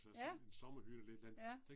Ja. ja